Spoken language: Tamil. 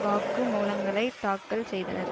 வாக்குமூலங்களைத் தாக்கல் செய்தனர்